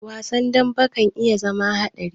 Wasan dambe ka iya zama haɗari.